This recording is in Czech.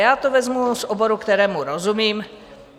Já to vezmu z oboru, kterému rozumím.